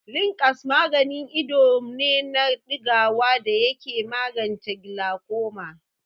Linkabs maganin ido ne na ɗigawa da yake magance gilakoma.